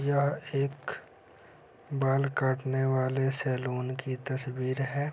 यहाँ एक बाल काटने वाले सैलून की तस्वीर है।